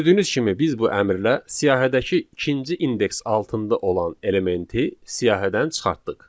Gördüyünüz kimi biz bu əmrlə siyahıdakı ikinci indeks altında olan elementi siyahıdan çıxartdıq.